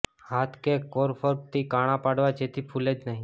હાથ કે ફોર્ક થી કાણાં પાડવા જેથી ફુલે નહીં